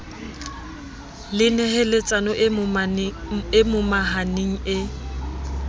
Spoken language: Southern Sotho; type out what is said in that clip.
le neheletsano e momahaneng e